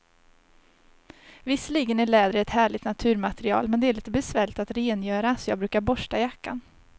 Visserligen är läder ett härligt naturmaterial, men det är lite besvärligt att rengöra, så jag brukar borsta jackan.